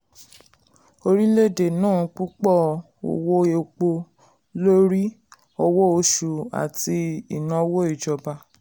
orílẹ̀-èdè ná púpọ̀ owó epo lórí owó oṣù àti ìnáwó ìjọba.